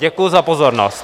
Děkuji za pozornost.